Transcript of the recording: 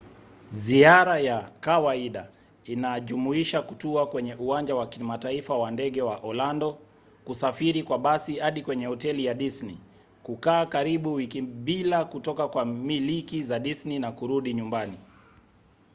ziara ya kawaida inajumuisha kutua kwenye uwanja wa kimataifa wa ndege wa orlando kusafiri kwa basi hadi kwenye hoteli ya disney kukaa karibu wiki bila kutoka kwa miliki za disney na kurudi nyumbani